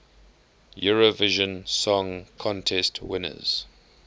eurovision song contest winners